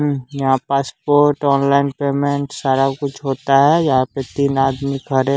हम्म यहाँ passport online payment सारा कुछ होता है यहाँ पे तीन आदमी खड़े--